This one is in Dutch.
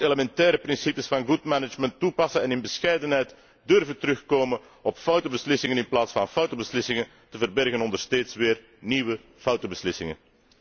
Men moet elementaire principes van good management toepassen en in bescheidenheid durven terugkomen op foute beslissingen in plaats van foute beslissingen verbergen onder steeds weer nieuwe foute beslissingen.